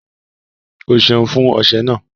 Ọ́ sẹun fún ọṣẹ̀ ná.